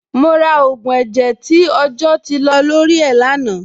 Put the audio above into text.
Mo ra ògùn ẹ̀jẹ̀ tí ọjọ́ ti lọ lórí ẹ̀ lánàá.